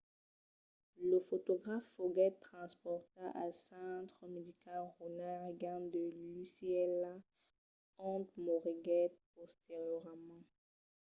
lo fotograf foguèt transportat al centre medical ronald reagan de l'ucla ont moriguèt posteriorament